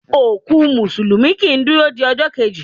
Òkú músùlùmí kii duro di ọjọ́ keji